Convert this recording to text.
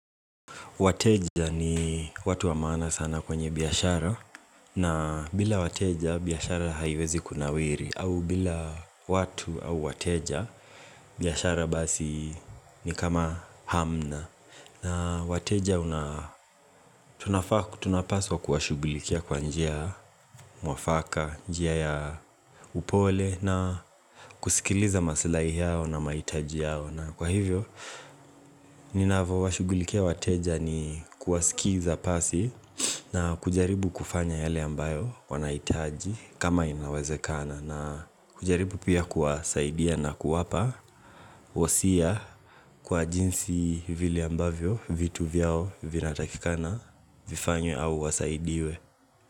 Wateja ni watu wa maana sana kwenye biashara na bila wateja biashara haiwezi kunawiri au bila watu au wateja biashara basi ni kama hamna na wateja tunapaswa kuwashughulikia kwa njia mwafaka, njia ya upole na kusikiliza maslahi yao na mahitaji yao na kwa hivyo, ninavyo washugulikia wateja ni kuwasikiza pasi na kujaribu kufanya yale ambayo wanahitaji kama inawezekana na kujaribu pia kuwasaidia na kuwapa wasia kwa jinsi vili ambavyo vitu vyao vinatakikana vifanywe au wasaidiwe.